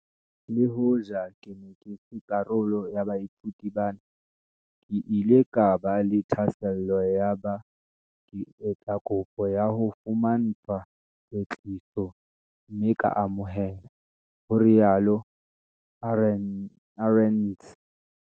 "Le hoja ke ne ke se karolo ya baithuti bana, ke ile ka ba le thahasello yaba ke etsa kopo ya ho fumantshwa kwetliso mme ka amohelwa," ho rialo Arendse.